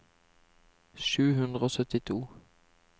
sju hundre og syttito